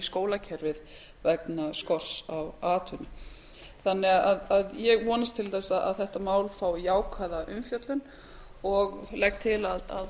skólakerfið vegna skorts á atvinnu ég vonast til að þetta mál fái jákvæða umfjöllun og legg til að